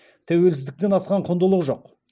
тәуелсіздіктен асқан құндылық жоқ